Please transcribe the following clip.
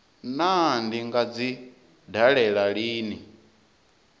naa ndi nga dzi dalela lini